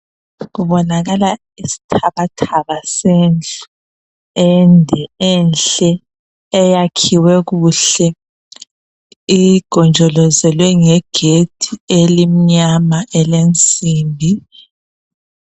Kubonakala isithabathaba sendlu ende enhle eyakhiwe kuhle igonjolozelwe ngegedi elinyama elensimbi